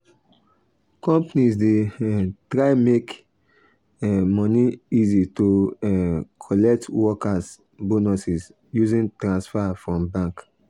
companies dey um try make um money easy to um collect workers bonuses using transfer from bank